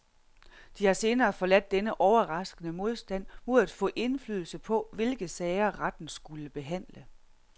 De har senere forladt denne overraskende modstand mod at få indflydelse på, hvilke sager retten skulle behandle.